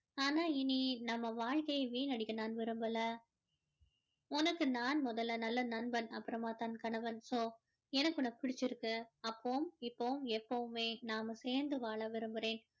ஆனா இனி நம்ம வாழ்கையை வீணடிக்க நான் விரும்பல உனக்கு நான் முதல்ல நல்ல நண்பன் அப்பறமாதான் கணவன் so எனக்கு உன்ன பிடிச்சி இருக்கு அப்போவும் இப்போவும் எப்போவுமே நாம சேர்ந்து வாழ விரும்புறேன்